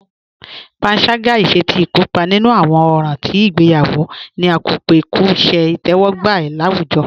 Pànságá, ìṣè tí ikópa nínu awọn òràn tí igbèyawo, ní à ká pé kò ṣẹ̀ itẹwọgba láwùjọ.